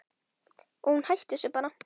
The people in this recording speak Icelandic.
Og hún hætti þessu bara.